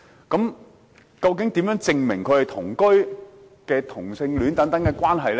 究竟如何證明同居或同性戀的關係呢？